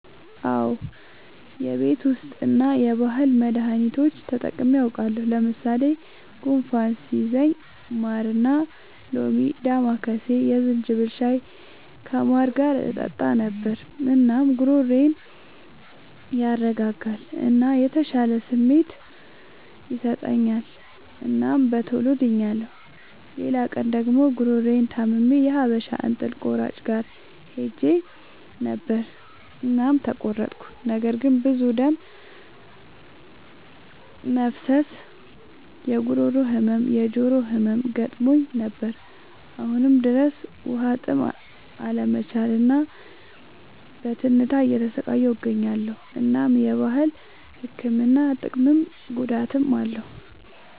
አዎ የቤት ዉስጥ እና የባህል መዳኒቶች ተጠቅሜ አዉቃለሁ። ለምሳሌ፦ ጉንፋን ሲይዘኝ ማርና ሎሚ፣ ዳማከሴ፣ የዝንጅብል ሻይ ከማር ጋር እጠጣ ነበር። እናም ጉሮሮዬን ያረጋጋል እና የተሻለ ስሜት ይሰጠኛል እናም በቶሎ ድኛለሁ። ሌላ ቀን ደግሞ ጉሮሮየን ታምሜ የሀበሻ እንጥል ቆራጭ ጋር ሄጀ ነበር እናም ተቆረጥኩ። ነገር ግን ብዙ ደም መፍሰስ፣ የጉሮሮ ህመም፣ የጆሮ ህመም ገጥሞኝ ነበር። አሁንም ድረስ በዉሀጥም አለመቻል እና በትንታ እየተሰቃየሁ እገኛለሁ። እናም የባህል ህክምና ጥቅምም ጉዳትም አለዉ።